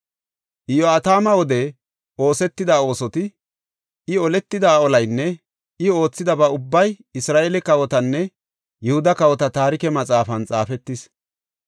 Iyo7atama wode oosetida oosoti, I oletida olaynne I oothidaba ubbay Isra7eele kawotanne Yihuda kawota taarike maxaafan xaafetis.